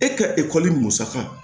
E ka ekɔli musaka